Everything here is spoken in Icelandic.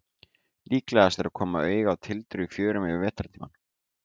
Líklegast er að koma auga á tildrur í fjörum yfir vetrartímann.